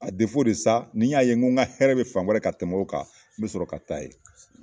A ni y'a ye n ko ka hɛrɛ bɛ fan wɛrɛ fɛ ka tɛmɛ nin kan n bi sɔrɔ ka taa yen.